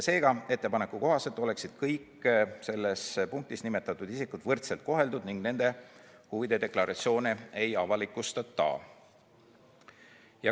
Seega, ettepaneku kohaselt oleksid kõik selles punktis nimetatud isikud võrdselt koheldud ning nende huvide deklaratsiooni ei avalikustata.